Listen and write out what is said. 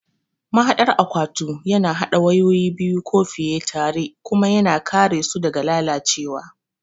Mahaɗar akwatu yana haɗa wayoyi biyu ko fiye tare kuma yana kare su daga lalacewa.